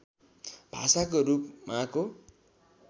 भाषाको रूप माको